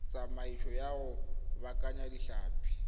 tsamaiso ya go baakanya ditlhapi